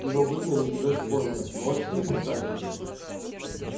его выгнали из вест-пойнта можешь себе представить